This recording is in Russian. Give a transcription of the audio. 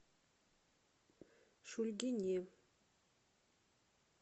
шульгине